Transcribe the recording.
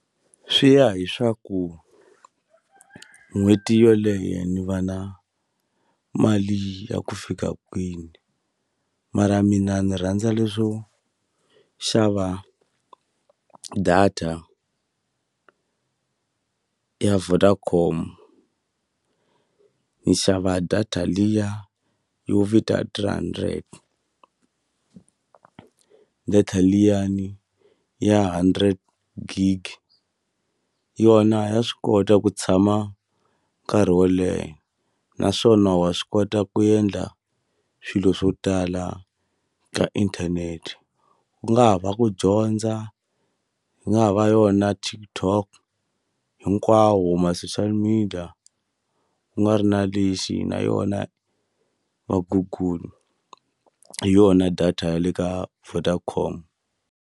Swi ya hi swaku n'hweti yoleyo ni va na mali ya ku fika kwini mara mina ni rhandza leswo xava data ya Vodacom ni xava data liya yo vita three hundred data liyani ya hundred gig yona ya swi kota ku tshama nkarhi wo leha naswona wa swi kota ku endla swilo swo tala ka inthanete ku nga ha va ku dyondza ku nga ha va yona TikTok hinkwawo ma-social media ku nga ri na lexi na yona va Google hi yona data ya le ka Vodacom.